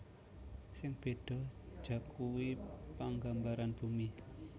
Sing béda jakuwi panggambaran bumi